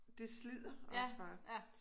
Det slider også bare